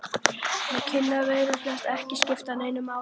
Þau kynni virtust ekki skipta neinu máli.